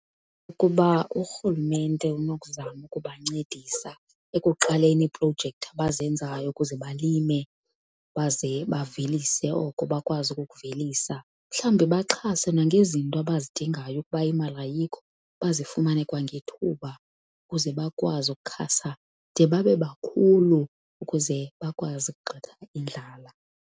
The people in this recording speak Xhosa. Ukuba urhulumente unokuzama ukubancedisa ekuqaleni iiprojekthi abazenzayo ukuze balime baze bavelise oko bakwazi ukukuvelisa. Mhlawumbe baxhase nangezinto abazidingayo ukuba imali ayikho, bazifumane kwangethuba ukuze bakwazi ukukhasa de babe bakhulu ukuze bakwazi ukugxotha indlala.